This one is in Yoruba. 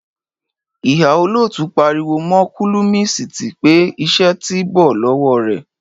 Ìhà olotu parí wò mo kólọmísiti pé; ìṣe tí bọ lowo rẹ.